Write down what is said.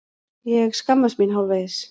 Ég skammast mín hálfvegis.